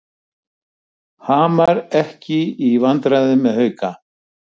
Hamar ekki í vandræðum með Hauka